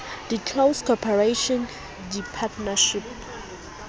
di close corporation di partnership